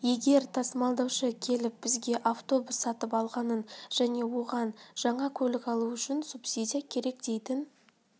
егер тасымалдаушы келіп бізге автобус сатып алғанын және оған жаңа көлік алу үшін субсидия керек дейтін